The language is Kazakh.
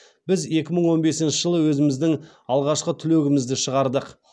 біз екі мың он бесінші жылы өзіміздің алғашқы түлегімізді шығардық